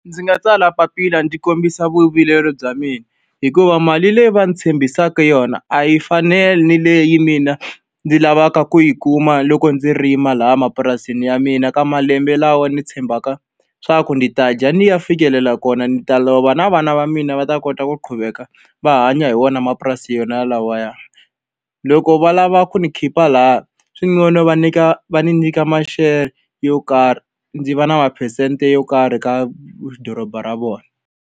Ndzi nga tsala papila ndzi kombisa vuvileri bya mina, hikuva mali leyi va ndzi tshembisaka yona a yi fani ni leyi mina ndzi lavaka ku yi kuma loko ndzi rima laha mapurasini ya mina, ka malembe lawa ndzi tshembaka leswaku ndzi ta dya ndzi ya fikelela kona. Ni ta lava na vana va mina va ta kota ku qhuveka va hanya hi wona mapurasi yona lawaya. Loko va lava ku ni khipa lahaya, va nyika va ni nyika ma-share yo karhi, ndzi va na maphesente yo karhi ka doroba ra vona.